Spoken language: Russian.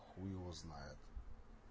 хуй его знает